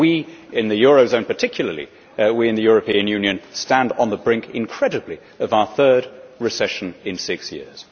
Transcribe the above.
We in the eurozone particularly we in the European Union stand on the brink, incredibly, of our third recession in six years.